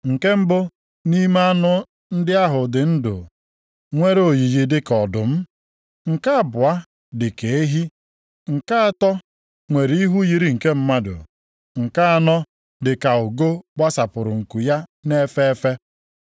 Nke mbụ nʼime anụ ndị ahụ dị ndụ nwere oyiyi dịka ọdụm. Nke abụọ dịka ehi. Nke atọ nwere ihu yiri nke mmadụ. Nke anọ dịka ugo gbasapụrụ nku ya na-efe efe.